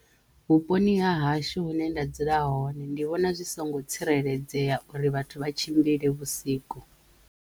Vhuponi ha hashu hune nda dzula hone ndi vhona zwi songo tsireledzeya uri vhathu vha tshimbile vhusiku.